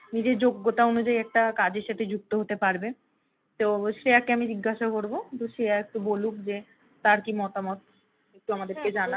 নিজের যোগ্যতা অনুযায়ী একটা কাজের সাথে যুক্ত হতে পারবে তো শ্রেয়াকে আমি জিজ্ঞাসা করবো তো শ্রেয়া একটু বলুক যে তার কি মতামত, একটু আমাদেরকে জানাক।